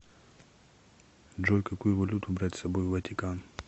джой какую валюту брать с собой в ватикан